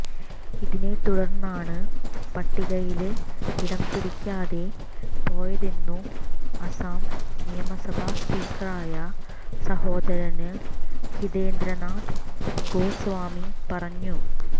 ഇതിനെതുടര്ന്നാണ് പട്ടികയില് ഇടംപിടിക്കാതെ പോയതെന്നു അസം നിയമസഭാ സ്പീക്കറായ സഹോദരന് ഹിതേന്ദ്രനാഥ് ഗോസ്വാമി പറഞ്ഞു